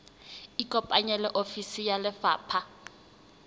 ikopanye le ofisi ya lefapha